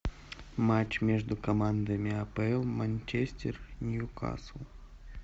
матч между командами апл манчестер ньюкасл